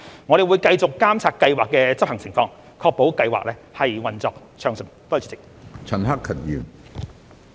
我們會繼續監察計劃的執行情況，確保計劃運作暢順。